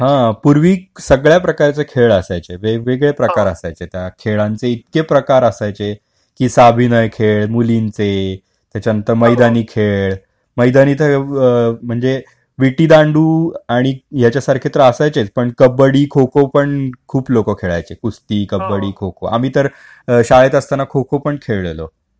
हा आणि पूर्वी सगळ्या प्रकारचे खेळ असायचे वेगवेगळे प्रकार असायचे त्या खेळांचे इतके प्रकाराचे साभिनय खेळ, मुलींचे, त्याच्यानंतर मैदानी खेळ, मैदानी तर म्हणजे तर विटी दांडू आणि याच्यासारखे तर असायचेच पण कबड्डी खो-खो पण खूप लोक खेळायचे कुस्ती, कबड्डी खो-खो आम्ही तर शाळेत असताना खो-खो पण खेळलेलोत.